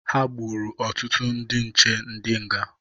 Ha gburu ọtụtụ ndị nche ndị nga.